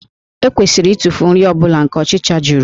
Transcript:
E kwesịrị ịtụfu nri ọ bụla nke ọchịcha juru